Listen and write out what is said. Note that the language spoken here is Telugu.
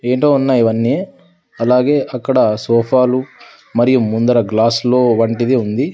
ఏంటో ఉన్నాయి ఇవన్నీ అలాగే అక్కడ సోఫాలు మరియు ముందర గ్లాసులు వంటిది ఉంది.